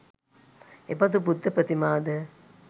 එබඳු බුද්ධ ප්‍රතිමා ද